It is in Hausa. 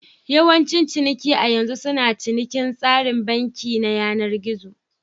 Yawancin ciniki a yanzu suna cikin tsarin banki na yanar gizo.